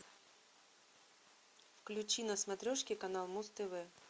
включи на смотрешке канал муз тв